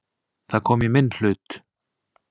Það kom í minn hlut.